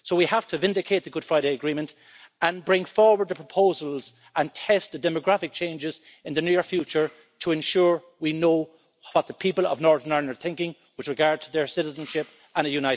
So we have to vindicate the Good Friday Agreement and bring forward the proposals and test the demographic changes in the near future to ensure we know what the people of Northern Ireland are thinking with regard to their citizenship and a united Ireland.